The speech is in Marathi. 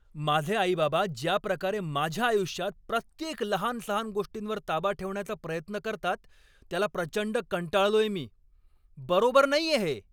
माझे आई बाबा ज्याप्रकारे माझ्या आयुष्यात प्रत्येक लहानसहान गोष्टींवर ताबा ठेवण्याचा प्रयत्न करतात त्याला प्रचंड कंटाळलोय मी. बरोबर नाहीये हे.